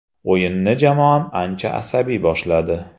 O‘yinni jamoam ancha asabiy boshladi.